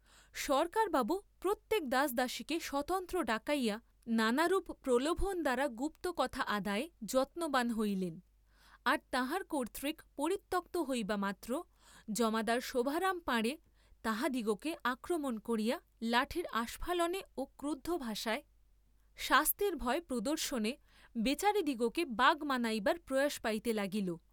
সরকারবাবু প্রত্যেক দাসদাসীকে স্বতন্ত্র ডাকাইয়া নানারূপ প্রলোভন দ্বারা গুপ্ত কথা আদায়ে যত্নবান হইলেন, আর তাঁহার কর্ত্তৃক পরিত্যক্ত হইবা মাত্র জমাদার শোভারাম পাঁড়ে তাহাদিগকে আক্রমণ করিয়া লাঠির আস্ফালনে ও ক্রুদ্ধ ভাষায় শাস্তির ভয় প্রদর্শনে বেচারাদিগকে বাগ মানাইবার প্রয়াস পাইতে লাগিল।